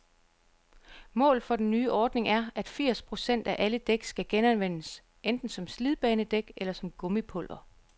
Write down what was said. Målet for den nye ordning er, at firs procent af alle dæk skal genanvendes, enten som slidbanedæk eller som gummipulver.